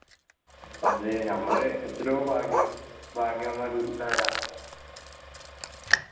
അതെ ഞമ്മള് എത്രയോ ഭാഗ്യവാന്മാർ